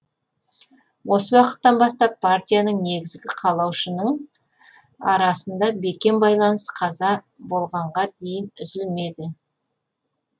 осы уақыттан бастап партияның негізін қалаушының арасында бекем байланыс қаза болғанға дейін үзілмеді